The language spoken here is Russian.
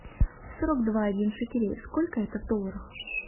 сорок два один шекелей сколько это в долларах